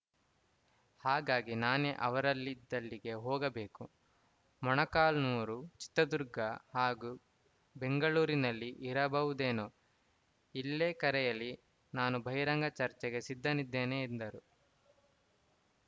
ಹಾಗಾಗಿ ನಾನೇ ಅವರಲಿದ್ದಲ್ಲಿಗೆ ಹೋಗಬೇಕು ಮೊಳಕಾಲ್ಮುರು ಚಿತ್ರದುರ್ಗ ಹಾಗು ಬೆಂಗಳೂರಿನಲ್ಲಿ ಇರಬಹುದೇನೋ ಇಲ್ಲೇ ಕರೆಯಲಿ ನಾನು ಬಹಿರಂಗ ಚರ್ಚೆಗೆ ಸಿದ್ಧನಿದ್ದೇನೆ ಎಂದರು